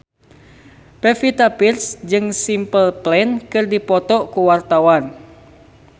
Pevita Pearce jeung Simple Plan keur dipoto ku wartawan